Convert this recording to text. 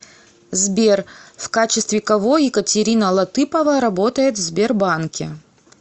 сбер в качестве кого екатерина латыпова работает в сбербанке